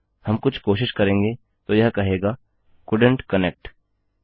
हम कुछ कोशिश करेंगे तो यह कहेगा कोल्डेंट कनेक्ट